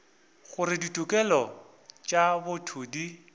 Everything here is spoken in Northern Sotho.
gore ditokelo tša botho di